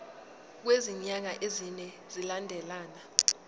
kwezinyanga ezine zilandelana